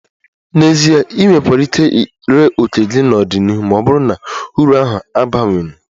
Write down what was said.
N'ezie, ị nwekwara ike ree òkè gị n'ọdịnihu ma ọ bụrụ na uru ahụ abawanye